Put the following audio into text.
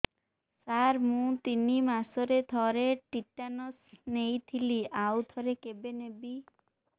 ସାର ମୁଁ ତିନି ମାସରେ ଥରେ ଟିଟାନସ ନେଇଥିଲି ଆଉ ଥରେ କେବେ ନେବି